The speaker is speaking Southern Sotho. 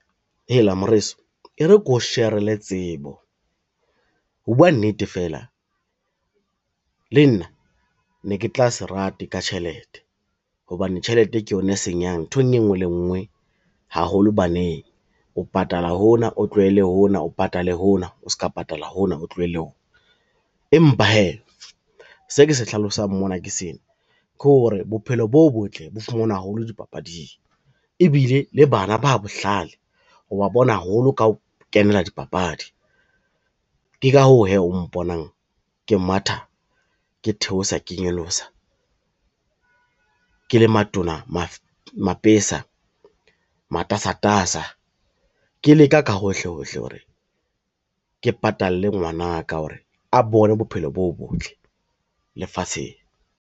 Heela moreso e re keo sherele tsebo, ho bua nnete fela le nna ne ke tla se rate ka tjhelete hobane tjhelete ke yona e senyang nthong e ngwe le e ngwe haholo baneng o patala hona o tlohele ho ona, o patale hona o ska patala hona, o tlohele hona. Empa hee se ke se hlalosang mona ke sena, ke hore bophelo bo botle bo fumanwa haholo dipapading ebile le bana ba bohlale wa bona haholo ka ho kenela dipapadi. Ke ka hoo hee o mponang ke matha, ke theosa ke nyolosa, ke le matona mapesa, matasatasa, ke leka ka hohle hohle hore ke patale ngwana ka hore a bone bophelo bo botle lefatsheng.